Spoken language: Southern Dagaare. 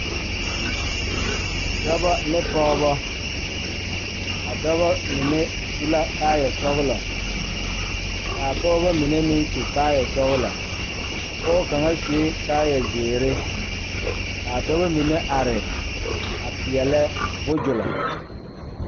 Dɔɔba ne pɔgeba la kaa dɔɔ kaŋa a are a su kpare pelaa kaa Yiri a die dankyini are kaa kolbaare a dɔgle tabol a pelebuzulo.